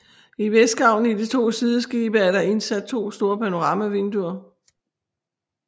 I vestgavlen i de to sideskibe er der indsat to store panoramavinder